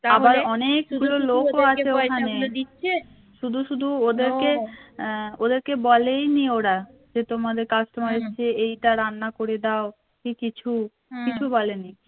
দিচ্ছে শুধু শুধু ওদেরকে বলেইনি ওরা যে তোমাদের customer এসেছে এইটা রান্না করে দাও কি কিছু কিছু বলেনি